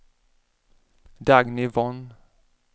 Dagny Von